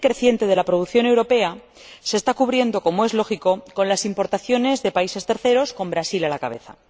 El déficit creciente de la producción europea se está cubriendo, como es lógico, con las importaciones de países terceros, con Brasil a la cabeza.